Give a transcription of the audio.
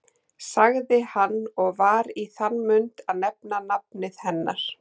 sagði hann og var í þann mund að nefna nafnið hennar.